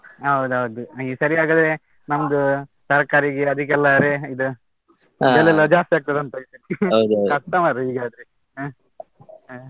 ಹೌದೌದು. ಈ ಸರಿ ಹಾಗಾದ್ರೆ ನಮ್ದು ತರಕಾರಿಗೆ ಅದಿಕ್ಕೆಲ್ಲ ra~ ಇದ್, ಬೆಲೆಯೆಲ್ಲಾ ಜಾಸ್ತಿ ಆಗ್ತದ ಅಂತ ಕಸ್ಟ ಮಾರೆ ಹೀಗಾದ್ರೆ ಆಹ್ ಆಹ್.